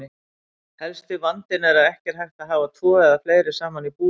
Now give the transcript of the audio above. Helsti vandinn er að ekki er hægt að hafa tvo eða fleiri saman í búri.